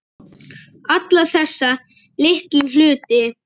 Alla þessa litlu hluti.